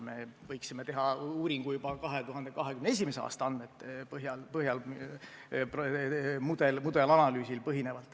Me võiksime teha uuringu juba 2021. aasta andmete põhjal, mudelanalüüsil põhinevalt.